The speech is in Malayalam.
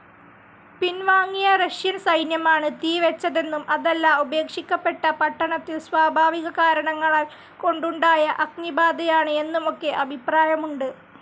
പിൻവാങ്ങിയ റഷ്യൻ സൈന്യമാണ് തീ വെച്ചതെന്നും അതല്ല ഉപേക്ഷിക്കപ്പെട്ട പട്ടണത്തിൽ സ്വാഭാവിക കാരണങ്ങൾ കൊണ്ടുണ്ടായ അഗ്നിബാധയാണ് എന്നുമൊക്കെ അഭിപ്രായമുണ്ട്,.